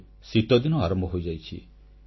ଏବେ ଶୀତଦିନ ଆରମ୍ଭ ହୋଇଯାଇଛି